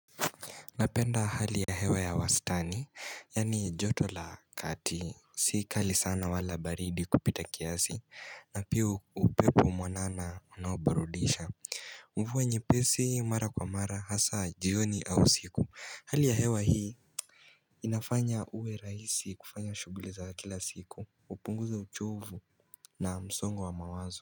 Napenda hali ya hewa ya wastani, yani joto la kati, si kali sana wala baridi kupita kiasi, na pia upepo mwanana unao burudisha Mvua nyepesi mara kwa mara hasa jioni au usiku, hali ya hewa hii inafanya uwe raisi kufanya shuguli za kila siku, upunguza uchovu na msongo wa mawazo.